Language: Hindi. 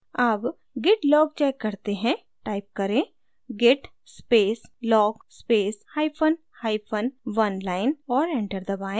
अब git log check करते हैं टाइप करें git space log space hyphen hyphen oneline और enter दबाएँ